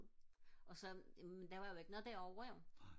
og så jamen der var jo ikke noget derovre jo